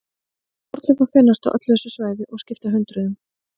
Fornleifar finnast á öllu þessu svæði og skipta hundruðum.